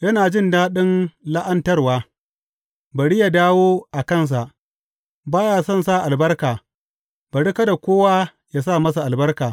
Yana jin daɗin la’antarwa, bari yă dawo a kansa; ba ya son sa albarka, bari kada kowa yă sa masa albarka.